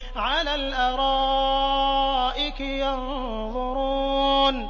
عَلَى الْأَرَائِكِ يَنظُرُونَ